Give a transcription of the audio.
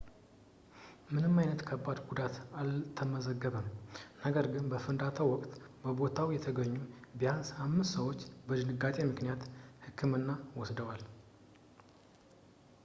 ምንም ዓይነት ከባድ ጉዳት አልተመዘገበም ነገር ግን በፍንዳታው ወቅት በቦታው የተገኙ ቢያንስ አምስት ሰዎች የድንጋጤ ምልክቶች ሕክምና ወስደዋል